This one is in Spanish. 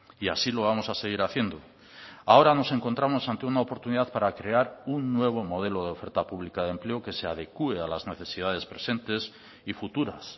y así lo vamos a seguir haciendo ahora nos encontramos ante una oportunidad para crear un nuevo modelo de oferta pública de empleo que se adecue a las necesidades presentes y futuras